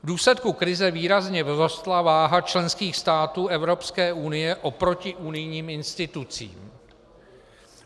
V důsledku krize výrazně vzrostla váha členských států Evropské unie oproti unijním institucím.